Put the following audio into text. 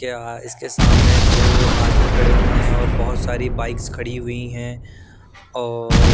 क्या इसके सामने दो आदमी खड़े हुए हैं और बहुत सारी बाइक्स खड़ी हुई हैं और--